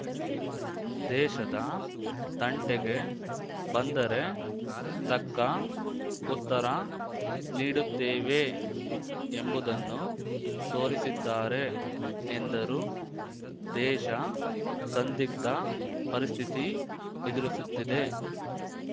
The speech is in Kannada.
ದೇಶದ ತಂಟೆಗೆ ಬಂದರೆ ತಕ್ಕ ಉತ್ತರ ನೀಡುತ್ತೇವೆ ಎಂಬುದನ್ನು ತೋರಿಸಿದ್ದಾರೆ ಎಂದರು ದೇಶ ಸಂದಿಗ್ಧ ಪರಿಸ್ಥಿತಿ ಎದುರಿಸುತ್ತಿದೆ